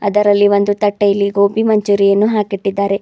ಅದರಲ್ಲಿ ಒಂದು ತಟ್ಟೆಯಲ್ಲಿ ಗೋಬಿ ಮಂಚೂರಿ ಯನ್ನು ಹಾಕಿ ಇಟ್ಟಿದ್ದಾರೆ.